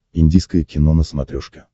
индийское кино на смотрешке